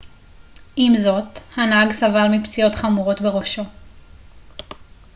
עם זאת הנהג סבל מפציעות חמורות בראשו